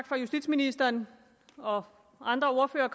for at justitsministeren og andre ordførere